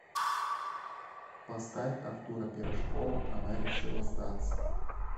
поставь артура пирожкова она решила сдаться